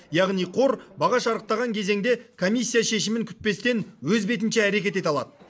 яғни қор баға шарықтаған кезеңде комиссия шешімін күтпестен өз бетінше әрекет ете алады